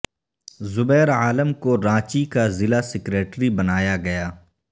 زبیر عالم کو رانچی کا ضلع سکریٹری بنایا گیا